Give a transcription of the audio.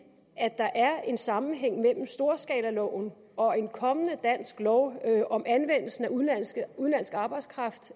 at der er en sammenhæng mellem storskalaloven og en kommende dansk lov om anvendelsen af udenlandsk arbejdskraft